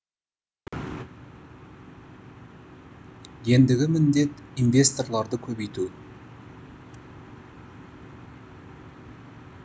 ендігі міндет инвесторларды көбейту